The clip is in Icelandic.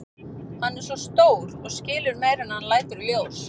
Hann er svo stór og skilur meira en hann lætur í ljós.